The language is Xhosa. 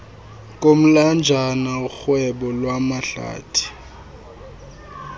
komlanjana urhwebo lwamahlathi